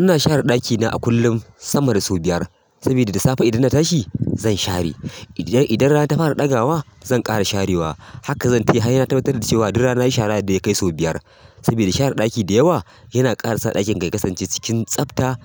Ina share ɗakina a kullum sama da sau biyar, saboda da safe idan na tashi zan share. Idan rana ta fara ɗaga wa zan ƙara sharewa. Haka zan ta yi har sai na tabbatar da cewa duka rana nayi shara da ya kai sau biyar. Saboda share ɗaki da yawa yana ƙara sa ɗakin ka ya kasance cikin tsafta